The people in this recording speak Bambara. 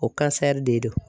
O de do.